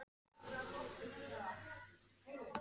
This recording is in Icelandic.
Jörundarson og fleiri handrit frá honum komin.